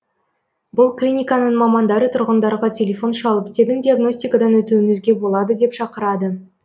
бұл клиниканың мамандары тұрғындарға телефон шалып тегін диагностикадан өтуіңізге болады деп шақырады